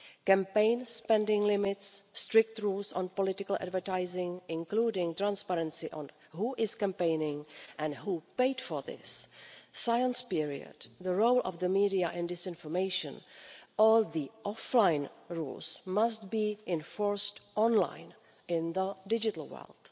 Campaign spending limits, strict rules on political advertising, including transparency on who is campaigning and who paid for it, the silence period, the role of the media in disinformation all the offline rules must be enforced online in the digital world.